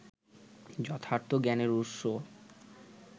যথার্থ জ্ঞানের উৎস